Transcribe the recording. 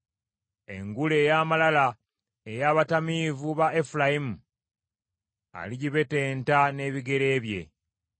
Engule ey’amalala ey’abatamiivu ba Efulayimu aligibetenta n’ebigere bye.